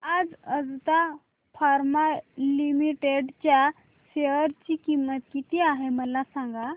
आज Ajanta pharma limited च्या share ची किंमत किती आहे मला सांगा